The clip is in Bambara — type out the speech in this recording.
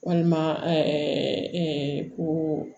Walima ko